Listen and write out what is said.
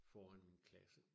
Foran min klasse